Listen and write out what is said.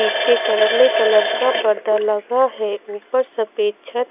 पीछे करले कलर का पर्दा लगा है ऊपर सफेद छत--